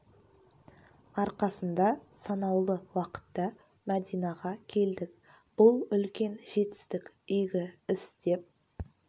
арқасында санаулы уақытта мәдинаға келдік бұл үлкен жетістік игі іс деп есептеймін алланың қалауымен қажылыққа